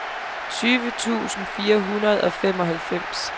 tyve tusind fire hundrede og femoghalvfems